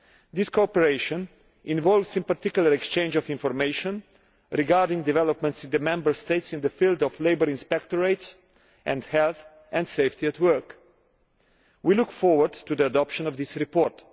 This cooperation involves, in particular, the exchange of information regarding developments in the Member States in the field of labour inspectorates and health and safety at work. We look forward to the adoption of this report.